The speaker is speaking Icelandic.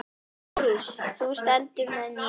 LÁRUS: Þú stendur með mér.